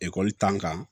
Ekɔli tan kan